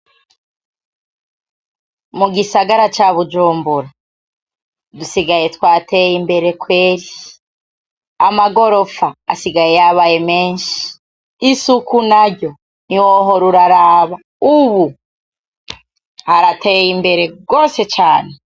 Mu gisagara ca Bujumbura dusigaye twateye imbere kweri! Amagorofa asigaye yabaye menshi, isuku naryo ni wohora uraraba, ubu harateye imbere gose cane.